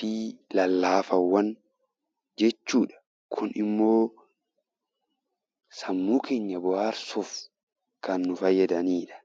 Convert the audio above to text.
fi lallaafaawwan jechuu dha. Kun immoo sammuu keenya bohaarsuuf kan nu fayyadani dha.